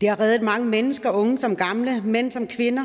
det har reddet mange mennesker unge som gamle mænd som kvinder